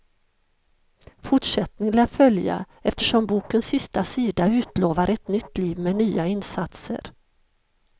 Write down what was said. Fortsättning lär följa, eftersom bokens sista sida utlovar ett nytt liv med nya insatser.